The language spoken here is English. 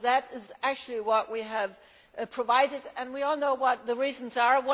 That is what we have provided and we all know what the reasons are.